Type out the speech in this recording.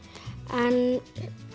en